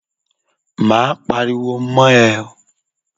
Máa pariwo mọ́ ẹ.